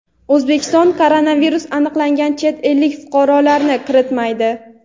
O‘zbekiston koronavirus aniqlangan chet ellik fuqarolarni kiritmaydi.